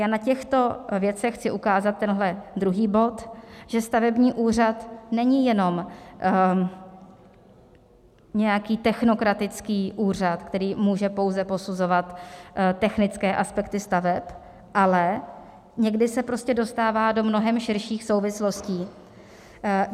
Já na těchto věcech chci ukázat tenhle druhý bod, že stavební úřad není jenom nějaký technokratický úřad, který může pouze posuzovat technické aspekty staveb, ale někdy se prostě dostává do mnohem širších souvislostí.